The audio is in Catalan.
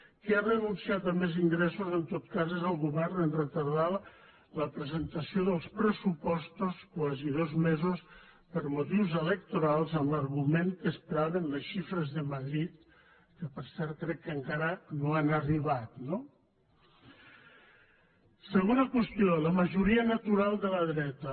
qui ha renunciat a més ingressos en tot cas és el govern en retardar la presentació dels pressupostos quasi dos mesos per motius electorals amb l’argument que esperaven les xifres de madrid que per cert crec que encara no han arribat no segona qüestió la majoria natural de la dreta